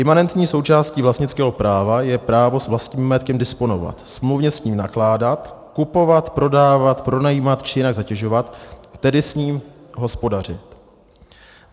Imanentní součástí vlastnického práva je právo s vlastním majetkem disponovat, smluvně s ním nakládat, kupovat, prodávat, pronajímat či jinak zatěžovat, tedy s ním hospodařit.